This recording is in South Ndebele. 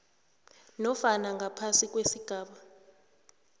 nofana ngaphasi kwesigaba